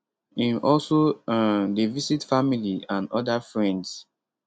im also um dey visit family and oda friends